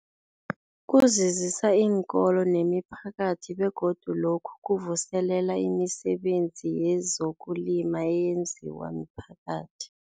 Kuzuzisa iinkolo nemiphakathi begodu lokhu kuvuselela imisebenzi yezokulima eyenziwa miphakathi.